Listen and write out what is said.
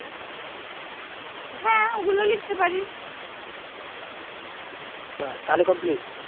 ব্যাস তাহলে complete,